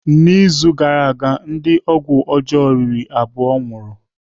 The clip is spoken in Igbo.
N'izu gara aga, ndị ọgwụ ọjọọ riri abụọ nwụrụ.